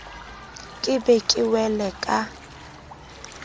ke be ke wele ka